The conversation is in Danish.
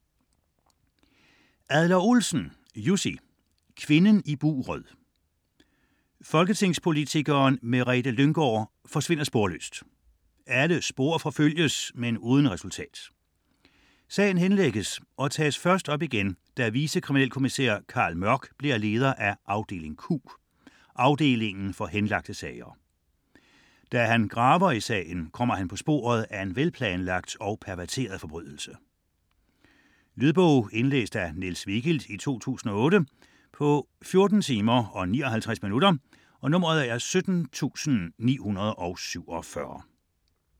Adler-Olsen, Jussi: Kvinden i buret Folketingspolitikeren Merete Lynggaard forsvinder sporløst. Alle spor forfølges, men uden resultat. Sagen henlægges og tages først op igen, da vicekriminalkommisær Carl Mørck bliver leder af afdeling Q, afdelingen for henlagte sager. Da han graver i sagen, kommer han på sporet af en velplanlagt og perverteret forbrydelse. Lydbog 17947 Indlæst af Niels Vigild, 2008. Spilletid: 14 timer, 59 minutter.